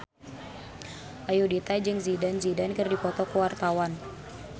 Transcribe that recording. Ayudhita jeung Zidane Zidane keur dipoto ku wartawan